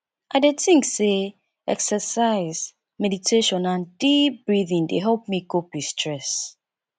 i dey think say exercise meditation and deep breathing dey help me cope with stress